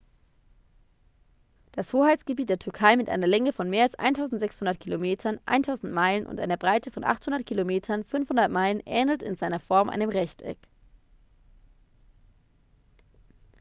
das hoheitsgebiet der türkei mit einer länge von mehr als 1.600 kilometern 1.000 meilen und einer breite von 800 kilometern 500 meilen ähnelt in seiner form einem rechteck